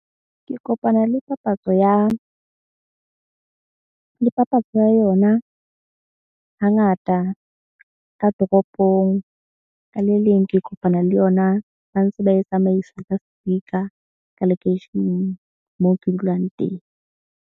Ke kopana le papatso ya le papatso ya yona hangata ka toropong. Ka le leng ke kopana le yona ba ntse ba e tsamaisa ka speaker ka lekeisheneng moo ke dulang teng.